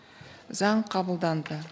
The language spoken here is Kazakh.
заң қабылданды